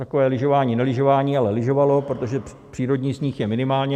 Takové lyžování nelyžování, ale lyžovalo, protože přírodní sníh je minimálně.